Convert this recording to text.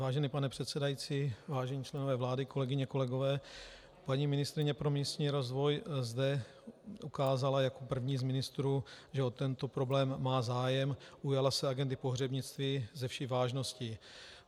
Vážený pane předsedající, vážení členové vlády, kolegyně, kolegové, paní ministryně pro místní rozvoj zde ukázala jako první z ministrů, že o tento problém má zájem, ujala se agendy pohřebnictví se vší vážností.